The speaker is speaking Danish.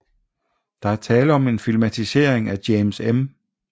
Der er tale om en filmatisering af James M